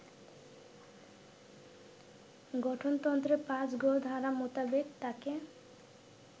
গঠনতন্ত্রের ৫ গ ধারা মোতাবেক তাকে